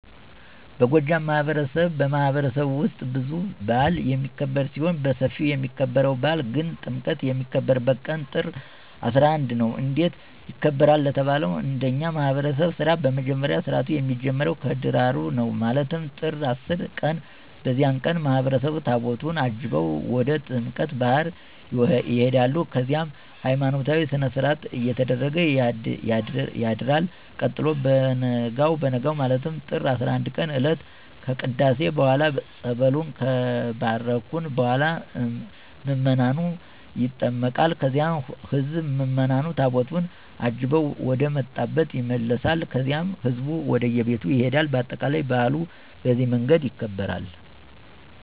በጎጃም ማህበረሰብማህበረሰብ ውስጥ ብዙ በአል የሚክብር ሲሆን በስፊው የሚከበርው በአል ግን ጥምቀት የሚከበርበት ቀን ጥር 11 ነው። እንዴት ይከበራል ለተባለው እንደኛ ማህብረሰብ ስርዓት በመጀመሪያ ስርአቱ የሚጀምረው ከደራሩ ነው ማለትም ጥር 10 ቀን በዚያን ቀን ማህበረሰቡ ታቦታቱን አጅበው ወደ ጥምቀተ ባህር ይሆዳሉ ከዚያም ሀይማኖታዊ ስነስርአት እየተደረገ ያድርል ቀጥሎ በቨነጋው ማለትም ጥር 11ቀን እለት ከቅዳሴ በኋላ ፀበሉን ከባረኩ በኋላ ምዕመኑ ይጠመቃል ከዚያም ህዝብ ምዕምኑ ታቦቱን አጅበው ወደመጣብ ይመለሳል ከዚያም ህዝቡ ወደቤቱ ይሄዳል በአጠቃላይ በአሉ በዚህ መንገድ ይከበራል።